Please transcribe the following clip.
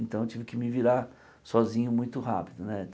Então eu tive que me virar sozinho muito rápido né.